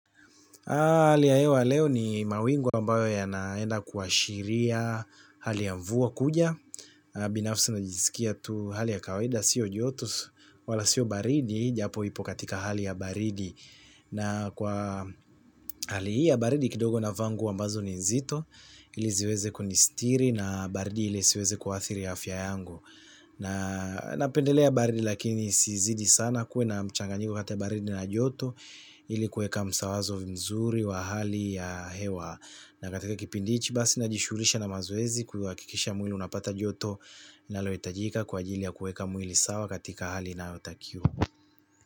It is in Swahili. Hali ya hewa leo ni mawingu ambayo yanaenda kuashiria hali ya mvua kuja binafsi na jiskia tu hali ya kawaida sio joto wala sio baridi japo ipo katika hali ya baridi na kwa hali hii ya baridi kidogo navaa nguo ambazo ni nzito ili ziweze kunistiri na baridi ile isiweze kuathiri afya yangu. Napendelea baridi lakini isizidi sana kuwe na mchanganyiko kati ya baridi na joto ili kueka msawazo mzuri wa hali ya hewa na katika kipindi ichi basi najishulisha na mazoezi kuakikisha mwili unapata joto nalo itajika kwajili ya kueka mwili sawa katika hali inayotakiwa.